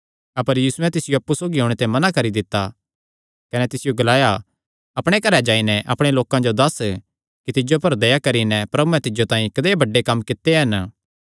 अपर यीशुयैं तिसियो अप्पु सौगी ओणे ते मना करी दित्ता कने तिसियो ग्लाया अपणे घरैं जाई नैं अपणे लोकां जो दस्स कि तिज्जो पर दया करी नैं प्रभुयैं तिज्जो तांई कदेय बड्डे कम्म कित्ते हन